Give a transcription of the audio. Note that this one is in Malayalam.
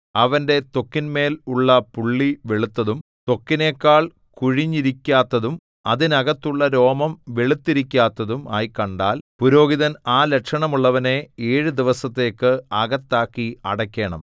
അവന്റെ ത്വക്കിന്മേൽ ഉള്ള പുള്ളി വെളുത്തതും ത്വക്കിനെക്കാൾ കുഴിഞ്ഞിരിക്കാത്തതും അതിനകത്തുള്ള രോമം വെളുത്തിരിക്കാത്തതും ആയി കണ്ടാൽ പുരോഹിതൻ ആ ലക്ഷണമുള്ളവനെ ഏഴു ദിവസത്തേക്ക് അകത്താക്കി അടയ്ക്കേണം